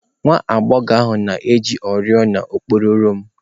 Nwa agbọghọ ahụ na-eji oriọna okpokoro m